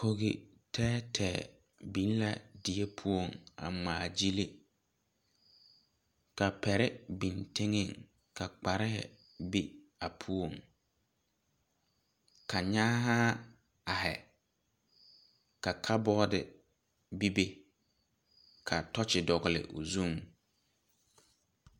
Kɔgi teɛ teɛ bin la deɛ pou a ngmaa gyili ka pɛre bin tenga ka kparee be a pou ka nyaahaa arẽ ka kabodi bebe ka tochi dɔgli ɔ zung.